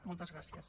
moltes gràcies